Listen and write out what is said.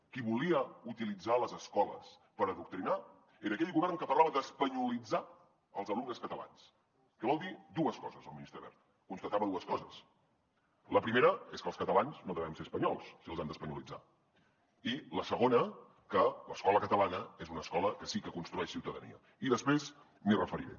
qui volia utilitzar les escoles per adoctrinar era aquell govern que parlava d’espanyolitzar els alumnes catalans que volia dir dues coses el ministre wert constatava dues coses la primera és que els catalans no devem ser espanyols si els han d’espanyolitzar i la segona que l’escola catalana és una escola que sí que construeix ciutadania i després m’hi referiré